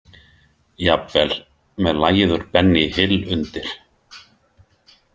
Jafnvel með lagið úr Benny Hill undir.